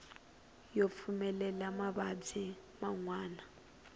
yo pfulela mavabyi man wana